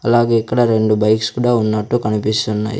అలాగే ఇక్కడ రెండు బైక్స్ కూడా ఉన్నట్టు కనిపిస్తున్నాయ్.